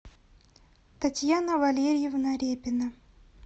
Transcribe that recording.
татьяна валерьевна репина